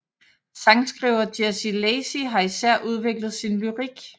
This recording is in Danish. Sangskriver Jesse Lacey har især udviklet sin lyrik